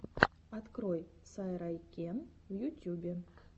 открой сайрайкен в ютюбе